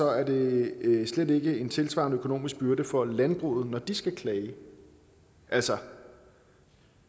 er det slet ikke en tilsvarende økonomisk byrde for landbruget når de skal klage altså